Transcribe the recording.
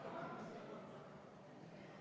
Vajalikud protseduurid on MKM-il tehtud.